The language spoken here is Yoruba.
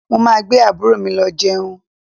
Mo máa gbé àbúrò mi lọ jẹun